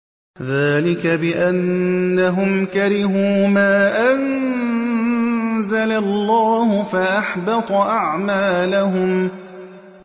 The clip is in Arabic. ذَٰلِكَ بِأَنَّهُمْ كَرِهُوا مَا أَنزَلَ اللَّهُ فَأَحْبَطَ أَعْمَالَهُمْ